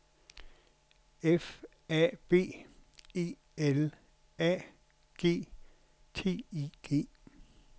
F A B E L A G T I G